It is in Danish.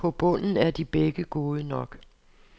På bunden er de begge gode nok.